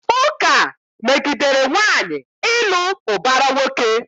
Ụka megidere nwaanyị ịlụ ụbara nwoke.